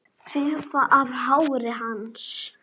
Þefa af hári hans.